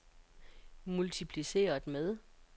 multipliceret med